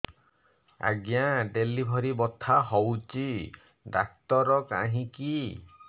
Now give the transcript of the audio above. ଆଜ୍ଞା ଡେଲିଭରି ବଥା ହଉଚି ଡାକ୍ତର କାହିଁ କି